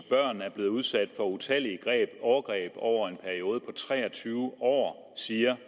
børn er blevet udsat for utallige overgreb over en periode på tre og tyve år siger